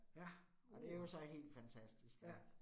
Ja. Uh ja